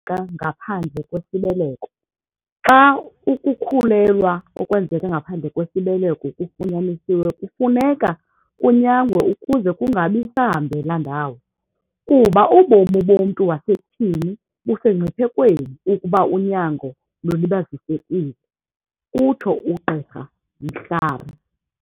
Ngaphandle kwesibeleko, "Xa ukukhulelwa okwenzeka ngaphandle kwesibeleko kufunyanisiwe kufuneka kunyangwe ukuze kungabi sahambela ndawo, kuba ubomi bomntu wasetyhini busemngciphekweni ukuba unyango lulibazisekile," utsho uGqirha Mhlari.